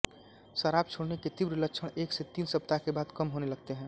शराब छोड़ने के तीव्र लक्षण एक से तीन सप्ताह के बाद कम होने लगते हैं